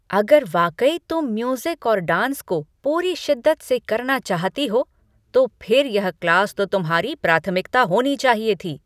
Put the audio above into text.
अगर वाकई तुम म्यूज़िक और डांस को पूरी शिद्दत से करना चाहती हो तो फिर यह क्लास तो तुम्हारी प्राथमिकता होनी चाहिए थी।